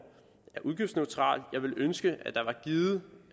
er udgiftsneutral jeg ville ønske at der var givet